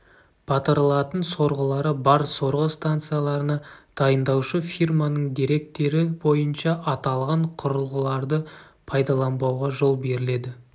батырылатын сорғылары бар сорғы станцияларына дайындаушы фирманың деректері бойынша аталған құрылғыларды пайдаланбауға жол беріледі